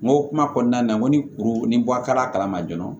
N ko kuma kɔnɔna na n ko ni kuru ni bɔ a ka kala ma joona